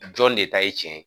Jɔn de ta ye cɛn ye.